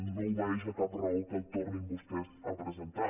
no obeeix a cap raó que el tornin vostès a presentar